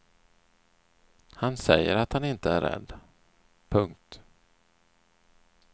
Han säger att han inte är rädd. punkt